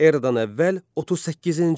Eradan əvvəl 38-ci il.